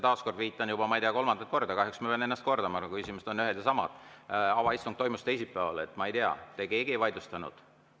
Taas kord viitan, ma ei tea, juba kolmandat korda, kahjuks ma pean ennast kordama, kui küsimused on ühed ja samad: avaistung toimus teisipäeval ja ma ei tea, te keegi ei vaidlustanud seda.